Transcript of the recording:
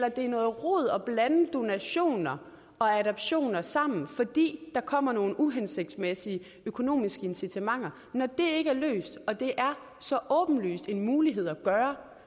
at det er noget rod at blande donationer og adoptioner sammen fordi der kommer nogle uhensigtsmæssige økonomiske incitamenter når det ikke er løst og det er så åbenlyst en mulighed at gøre